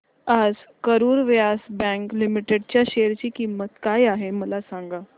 आज Karur Vysya bank limited च्या share ची किंमत काय आहे मला सांगा